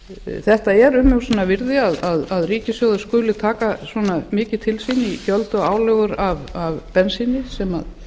krónum þetta er umhugsunarvirði að ríkissjóður skuli taka svona mikið til sín í gjöld og álögur af bensíni sem